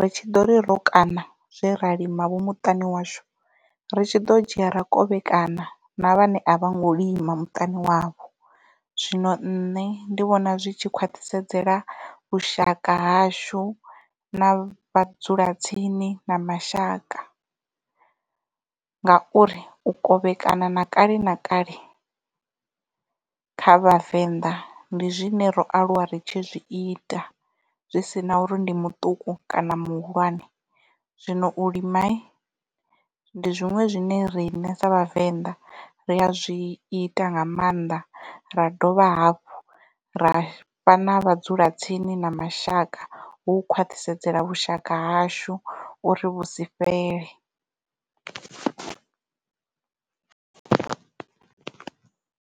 ri tshi ḓo ri ro kaṋa zwe ra lima vho muṱani washu ri tshi ḓo dzhia ra kovhekana na vhane a vho ngo lima muṱani wavho zwino nṋe ndi vhona zwi tshi khwathisedzela vhushaka hashu na vhadzulatsini na mashaka. Ngauri u kovhekana na kale na kale kha vhavenḓa ndi zwine ro aluwa ri tshi zwi ita zwi sina uri ndi muṱuku kana muhulwane zwino u lima ndi zwiṅwe zwine rine sa vhavenḓa ri a zwi ita nga maanḓa ra dovha hafhu ra fha na vhadzulatsini na mashaka hu u khwaṱhisedzela vhushaka hashu uri vhusifhele.